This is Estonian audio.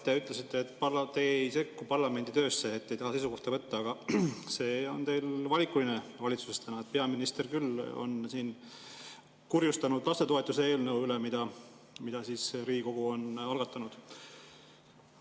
Te ütlesite, et te ei sekku parlamendi töösse, et te ei taha seisukohta võtta, aga see on teil valitsuses valikuline – peaminister on küll siin kurjustanud lastetoetuse eelnõu üle, mille Riigikogu on algatanud.